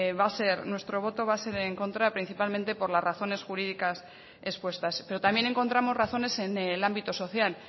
va a ser en contra principalmente por las razones jurídicas expuestas pero también encontramos razones en el ámbito social